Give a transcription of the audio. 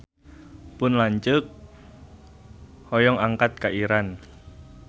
Pun lanceuk hoyong angkat ka Iran